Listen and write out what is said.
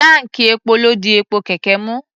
Táǹkì epo ló di epo kẹ̀kẹ́ mú.